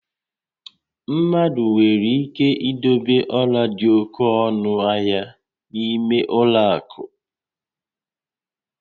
Mmadụ nwere ike idobe ọla dị oke ọnụ ahia n'ime ụlọ akụ